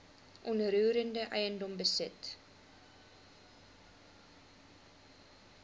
onroerende eiendom besit